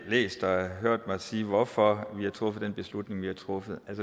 læst og hørt mig sige hvorfor vi har truffet den beslutning vi har truffet